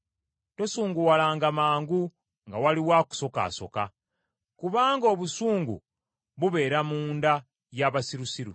Tosunguwalanga mangu nga waliwo akusokaasoka, kubanga obusungu bubeera munda y’abasirusiru.